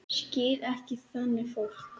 Skil ekki þannig fólk.